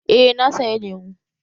Eh na saya lemu